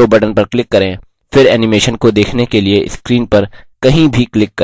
slide show button पर click करें फिर animation को देखने के लिए screen पर कहीं भी click